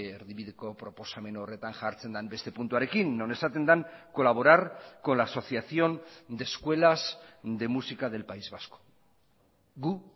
erdibideko proposamen horretan jartzen den beste puntuarekin non esaten den colaborar con la asociación de escuelas de música del país vasco gu